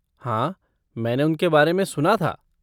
हाँ, मैंने उनके बारे में सुना था।